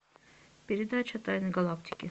передача тайны галактики